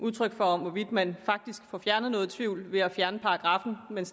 udtryk for over hvorvidt man faktisk får fjernet noget tvivl ved at fjerne paragraffen men